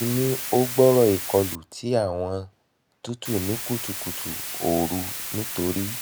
mo ti ni o gbooro ikolu um ti awọn tutu ni kutukutu yi ooru nitori